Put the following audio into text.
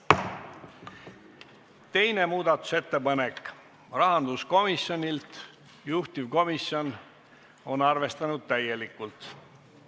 Teine muudatusettepanek on rahanduskomisjonilt, juhtivkomisjon on arvestanud seda täielikult.